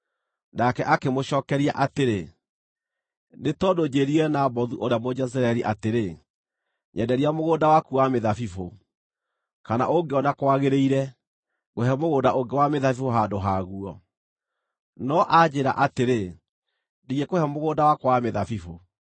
Nake akĩmũcookeria atĩrĩ, “Nĩ tondũ njĩĩrire Nabothu ũrĩa Mũjezireeli atĩrĩ, ‘Nyenderia mũgũnda waku wa mĩthabibũ, kana ũngĩona kwagĩrĩire, ngũhe mũgũnda ũngĩ wa mĩthabibũ handũ haguo.’ No anjĩĩra atĩrĩ, ‘Ndingĩkũhe mũgũnda wakwa wa mĩthabibũ.’ ”